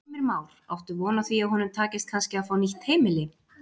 Heimir Már: Áttu von á því að honum takist kannski að fá nýtt heimili?